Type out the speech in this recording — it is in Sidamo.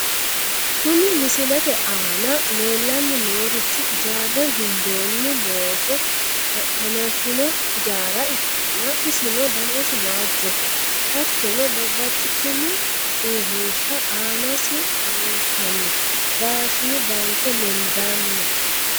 Kuni misilete aana leellanni noorichi ijaarre gundoonnni looso hanafino ijaara ikkanna, isino danasi waajjoho hattono, babbaxitino uurrinsha aanasi leeltanno daashini baanke lendanna.